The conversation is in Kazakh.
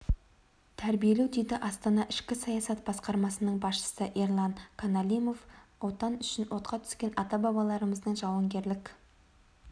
тәрбиелеу дейді астана ішкі саясат басқармасының басшысы ерлан каналимов отан үшін отқа түскен ата-бабаларымыздың жауынгерлік